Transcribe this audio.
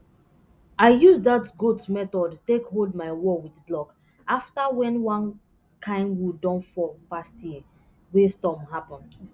i use dat goat method take hold my wall with blok afta wen one kain wood don fall past year wey storm happen